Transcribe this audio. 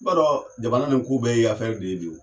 B'a dɔn jamana in ko bɛɛ ye de ye bi o.